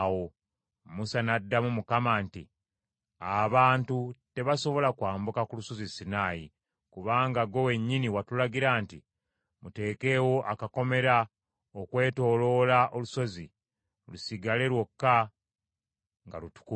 Musa n’addamu Mukama nti, “Abantu tebasobola kwambuka ku Lusozi Sinaayi, kubanga ggwe wennyini watulagira nti, ‘Muteekeewo akakomera okwetooloola olusozi, lusigale lwokka nga lutukuvu.’ ”